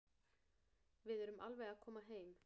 Við erum alveg að koma heim.